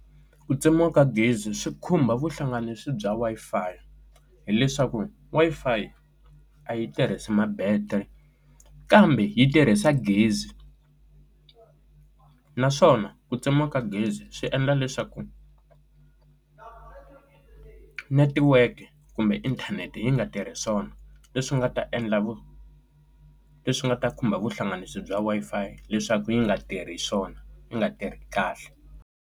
Ku tsemiwa ka gezi swi khumba vuhlanganisi bya Wi-Fi hileswaku Wi-Fi a yi tirhisi ma battery kambe yi tirhisa gezi naswona ku tsemiwa ka gezi swi endla leswaku network kumbe inthanete yi nga tirhi swona leswi nga ta endla leswi nga ta khumba vuhlanganisi bya Wi-Fi leswaku yi nga tirhi swona yi nga tirhi kahle.